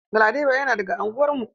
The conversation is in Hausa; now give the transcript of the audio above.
Galadima yana daga anguwar mu.